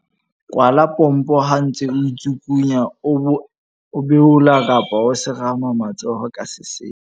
Kwala pompo ha o ntse o itsukunya, o beola kapa o semara matsoho ka sesepa.